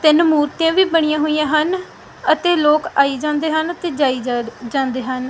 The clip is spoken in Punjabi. ਤਿੰਨ ਮੂਰਤੀਆਂ ਵੀ ਬਣੀਆਂ ਹੋਈਆਂ ਹਨ ਅਤੇ ਲੋਕ ਆਈ ਜਾਂਦੇ ਹਨ ਤੇ ਜਾਈ ਜਡ ਜਾਂਦੇ ਹਨ।